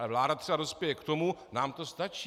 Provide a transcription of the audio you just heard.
Ale vláda třeba dospěje k tomu - nám to stačí.